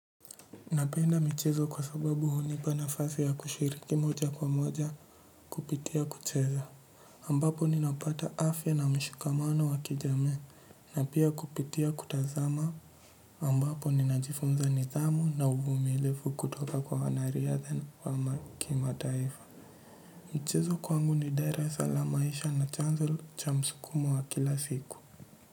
Napenda michezo kwa sababu hunipa nafasi ya kushiriki moja kwa moja kupitia kucheza. Ambapo ninapata afya na mshikamano wa kijamii na pia kupitia kutazama ambapo ninajifunza nidhamu na uvumilivu kutoka kwa wanariatha wa kimataifa. Mchezo kwangu ni darasa la maisha na chanzo cha msukumo wa kila siku.